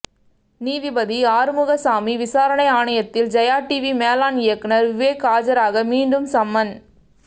நீதிபதி ஆறுமுகசாமி விசாரணை ஆணையத்தில் ஜெயா டிவி மேலாண் இயக்குநர் விவேக் ஆஜராக மீண்டும் சம்மன்